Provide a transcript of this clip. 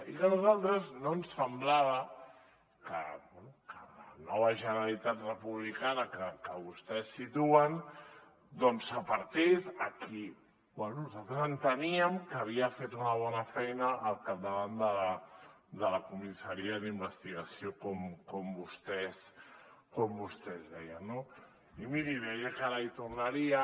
i que a nosaltres no ens semblava que bé que la nova generalitat republicana que vostès situen doncs apartés a qui bé nosaltres enteníem que havia fet una bona feina al capdavant de la comissaria d’investigació com vostès deien no i miri deia que ara hi tornaria